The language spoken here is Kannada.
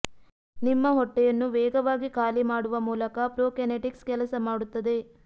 ನಿಮ್ಮ ಹೊಟ್ಟೆಯನ್ನು ವೇಗವಾಗಿ ಖಾಲಿ ಮಾಡುವ ಮೂಲಕ ಪ್ರೊಕೆನೆಟಿಕ್ಸ್ ಕೆಲಸ ಮಾಡುತ್ತದೆ